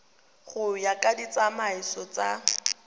go ya ka ditsamaiso tsa